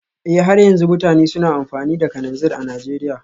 Eh har yanzu mutane suna amfani da kananzir a Najeriya